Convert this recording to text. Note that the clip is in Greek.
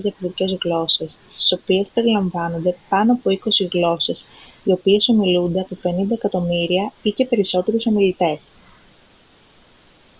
διαφορετικές γλώσσες στις οποίες περιλαμβάνονται πάνω από είκοσι γλώσσες οι οποίες ομιλούνται από 50 εκατομμύρια ή και περισσότερους ομιλητές